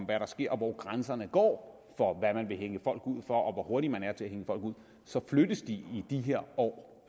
hvad der sker og hvor grænserne går for hvad man vil hænge folk ud for og hvor hurtig man er til at hænge folk ud så flyttes de i de her år